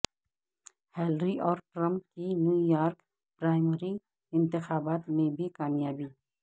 Hillary اور Trump کی New York primary انتخابات میں بھی کامیابی